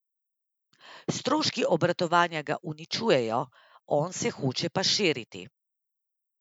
Stroški obratovanja ga uničujejo, on se hoče pa širiti.